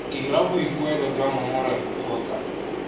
dira boikuelo jwa ngongorego kgotsa